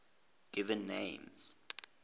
given names